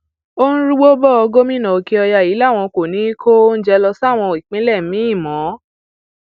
ó ń rúgbó bò ó gómìnà òkèọyà yìí làwọn kò ní í kó oúnjẹ lọ sáwọn ìpínlẹ míín mọ